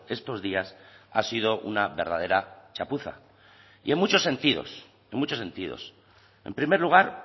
estos días ha sido una verdadera chapuza y en muchos sentidos en muchos sentidos en primer lugar